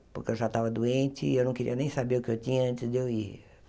Porque eu já estava doente e eu não queria nem saber o que eu tinha antes de eu ir.